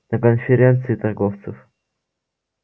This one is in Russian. на конференции торговцев